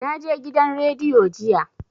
Na je gidan rediyo jiya